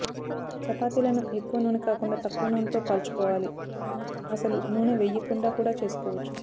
చపాతీలను ఎక్కువ నూనె కాకుండా తక్కువ నూనెతో కాల్చుకోవాలి అసలు నూనె వెయ్యకుండా కూడా చేసుకోవచు